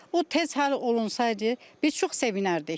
O tez həll olunsaydı, biz çox sevinərdik.